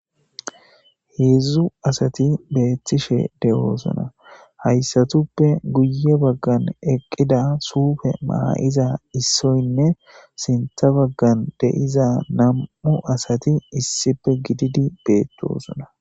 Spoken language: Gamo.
heedzdzu asati beettishe doosonna haysatuppe guye baggan eqqida suufe maa7ida issoynne sintha baggan de7iza nam7u asati issife gididi beettosonna